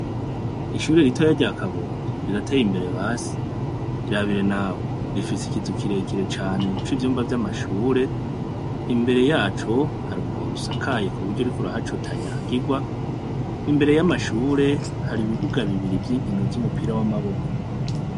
Ishure ritoyi rya kabondo riratey' imbere basi, irabire nawe rifis' ikizu kirekire cane c' ivyumba vy' amashure. Imbere yaco, har' umuhor' usakaye kubury' urik' urahac' utanyagigwa. Imbere y' amashure, har' ibibuga bibiri vy' inkino z' umupira w' amaboko.